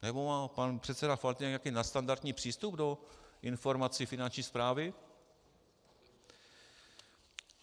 Nebo má pan předseda Faltýnek nějaký nadstandardní přístup do informací Finanční správy?